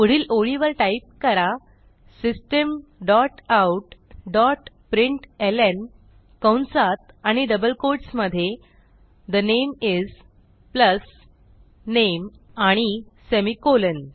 पुढील ओळीवर टाईप करा system dot out dot println कंसात आणि डबल कोट्स मधे the name is plus name आणि सेमिकोलॉन